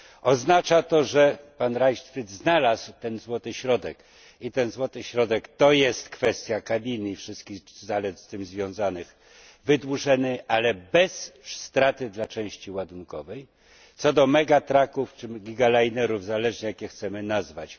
Oznacza to, że pan Leichtfried znalazł ten złoty środek i ten złoty środek to jest kwestia kabiny i wszystkich zalet z tym związanych wydłużenie, ale bez straty dla części ładunkowej. Co do mega trucków czy gigalinerów zależy jak je chcemy nazwać,